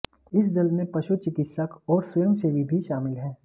इस दल में पशु चिकित्सक और स्वयंसेवी भी शामिल हैं